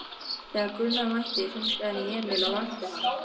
Þegar Gunnar mætti hringdi hann í Emil og vakti hann.